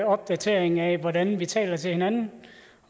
opdatering af hvordan vi taler til hinanden